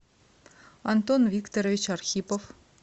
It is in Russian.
антон викторович архипов